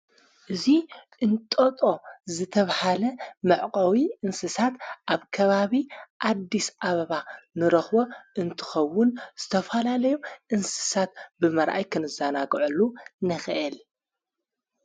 እዙይ እንጠጦ ዝተብሃለ መዕቀዊ እንስሳት ኣብ ከባቢ ኣዲስ ኣበባ ንረኽወ እንትኸውን ዝተፍሃላለይም እንስሳት ብመርኣይ ክንዛናጕዕሉ ነኸአል።